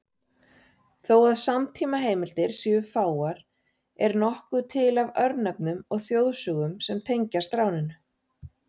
Þó að samtímaheimildir séu fáar er nokkuð til af örnefnum og þjóðsögum sem tengjast ráninu.